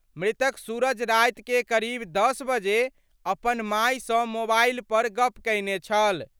मृतक सूरज राति के करीब 10 बजे अपन माए सं मोबाइल पर गप कयने छल।